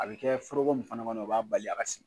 A bɛ kɛ foroko min fana kɔnɔ o b'a bali a ka sigi